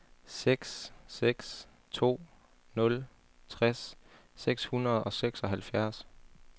seks seks to nul tres seks hundrede og seksoghalvfjerds